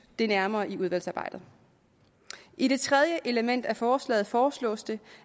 det nærmere i udvalgsarbejdet i det tredje element af forslaget foreslås det